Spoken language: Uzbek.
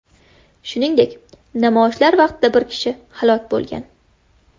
Shuningdek, namoyishlar vaqtida bir kishi halok bo‘lgan.